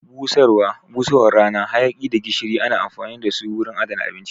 Busarwa, busarwan rana, hayaki da gishiri ana amfani dasu wurin adana abinci